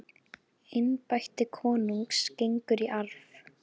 Embætti konungs gengur í arf.